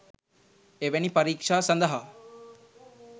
එවැනි පරීක්ෂා සඳහා